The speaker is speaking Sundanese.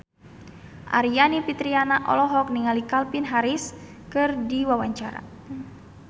Aryani Fitriana olohok ningali Calvin Harris keur diwawancara